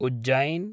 Ujjain